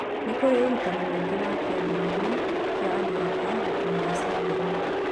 Nĩ kũrĩ na ũrutani mũingĩ wa kĩambĩrĩria kĩa andũ aka gũkinya gacumbĩrĩ